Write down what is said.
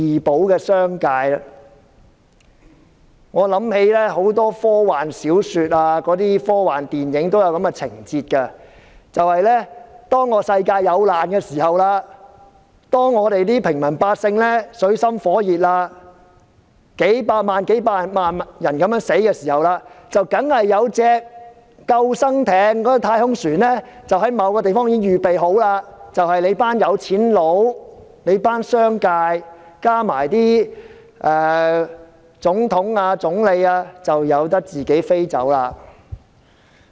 我想起很多科幻小說、科幻電影都有這情節，即當世界有難，平民百姓水深火熱，數以百萬計的人相繼死去時，總有艘救生艇或太空船在某個地方預備好，接載那群富人、商界，加上總統、總理離開。